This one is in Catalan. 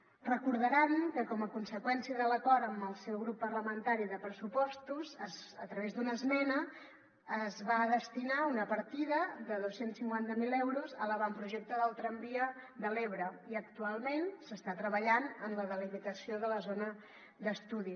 deuen recordar que com a conseqüència de l’acord amb el seu grup parlamentari de pressupostos a través d’una esmena es va destinar una partida de dos cents i cinquanta miler euros a l’avantprojecte del tramvia de l’ebre i actualment s’està treballant en la delimitació de la zona d’estudi